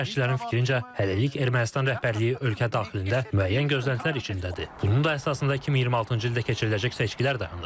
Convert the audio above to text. Siyasi şərhçilərin fikrincə, hələlik Ermənistan rəhbərliyi ölkə daxilində müəyyən gözləntilər içindədir, bunun da əsasında 2026-cı ildə keçiriləcək seçkilər dayanır.